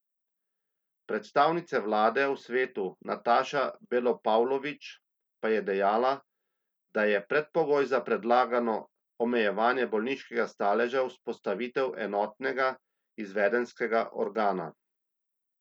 Predstavnica vlade v svetu Nataša Belopavlovič pa je dejala, da je predpogoj za predlagano omejevanje bolniškega staleža vzpostavitev enotnega izvedenskega organa.